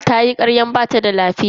Tayi karyan bata da lafiya.